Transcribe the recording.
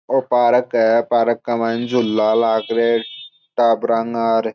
यो park है park के मायने झूला लगारा टाबरा र --